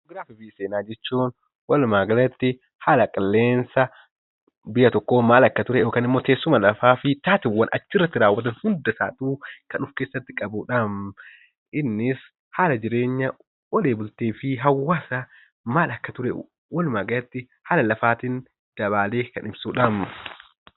Ji'oogiraafii fi Seenaa jechuun walumaa galatti haala qilleensa biyya tokkoo maal akka ture, teessuma lafaa fi haalawwan achi irratti raawwatu hunda kan of keessatti qabuudha. Innis haala ooltee fi bultee hawwaasa maal akka ture, haala lafaa fi dabaalee kan ibsuudha. Kunis Ji'oogiraafii jedhama. Seenaa jechuun waan ta'ee darbe tokkoo dhalootaaf kan himuudha.